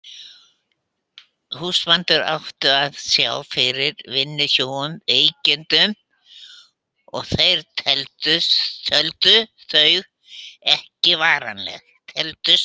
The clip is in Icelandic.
Húsbændur áttu og að sjá fyrir vinnuhjúum í veikindum þeirra, teldust þau ekki varanleg.